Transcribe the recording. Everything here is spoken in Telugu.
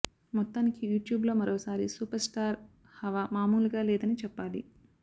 మొత్తానికి యూట్యూబ్ లో మరోసారి సూపర్ స్టార్ హవా మామూలుగా లేదని చెప్పాలి